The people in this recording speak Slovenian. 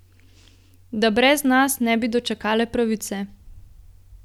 Da brez nas ne bi dočakale pravice.